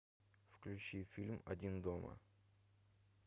включи фильм один дома